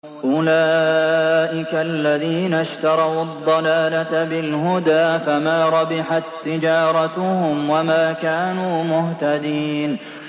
أُولَٰئِكَ الَّذِينَ اشْتَرَوُا الضَّلَالَةَ بِالْهُدَىٰ فَمَا رَبِحَت تِّجَارَتُهُمْ وَمَا كَانُوا مُهْتَدِينَ